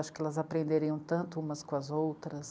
Acho que elas aprenderiam tanto umas com as outras.